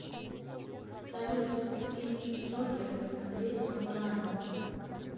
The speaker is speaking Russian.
салют фильм джокер смотреть онлайн